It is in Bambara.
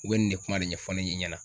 U bɛ nin de kuma de ɲɛfɔ ne ɲɛ na.